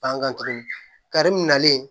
Bangan tuguni kare nalen